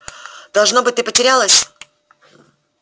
должно быть ты потерялась